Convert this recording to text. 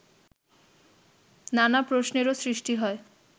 নানা প্রশ্নেরও সৃষ্টি হয়